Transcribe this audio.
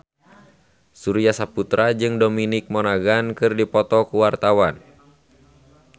Surya Saputra jeung Dominic Monaghan keur dipoto ku wartawan